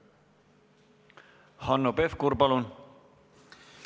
Hanno Pevkur, palun!